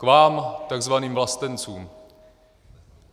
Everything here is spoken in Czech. K vám, takzvaným vlastencům.